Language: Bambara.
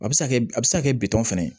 A bɛ se ka kɛ a bɛ se ka kɛ bitɔn fana ye